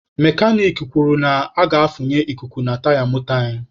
Mekanik kwuru na a ga-afunye ikuku na taya moto anyị.